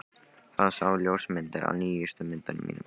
Hann sá ljósmyndir af nýjustu myndunum mínum.